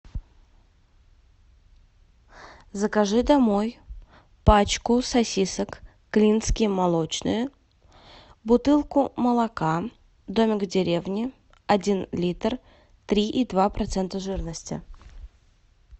закажи домой пачку сосисок клинские молочные бутылку молока домик в деревне один литр три и два процента жирности